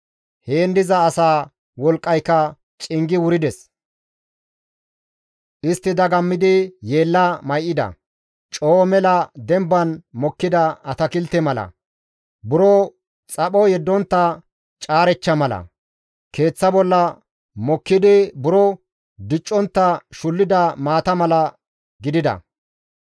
Heen diza asaa wolqqayka cingi wurides; istti dagammidi yeella may7ida; Coo mela demban mokkida atakilte mala, buro xapho yeddontta caarechcha mala, keeththa bolla mokkidi buro diccontta shullida maata mala gidida.